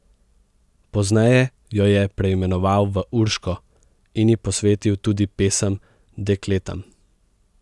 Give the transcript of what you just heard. Pozneje jo je preimenoval v Urško in ji posvetil tudi pesem Dekletam.